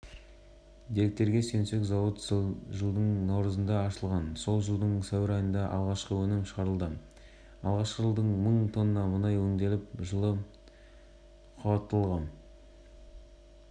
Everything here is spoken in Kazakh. айта кетейік ақтөбе мұнай өңдеу зауыты ақтөбе қаласының разъезінде орналасқан мұнда жоғары сапалы бензиннің түрі өндіріледі